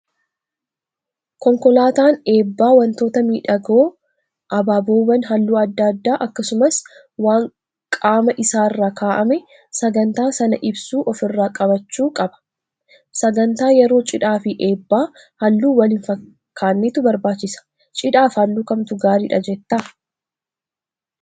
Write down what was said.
Konkolaataan eebbaa wantoota miidhagoo abaaboowwan halluu adda addaa akkasumas waan qaama isaarra kaa'amee sagantaa sana ibsu ofirraa qabaachuu qabu. Sagantaa yeroo cidhaa fi eebbaa halluu wal hin fakkaannetu barbaachisa. Cidhaaf halluu kamtu gaariidha jettaa?